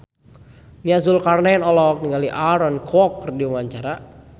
Nia Zulkarnaen olohok ningali Aaron Kwok keur diwawancara